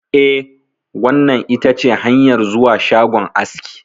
Eh, wannan itace hanyar zuwa shagon aski.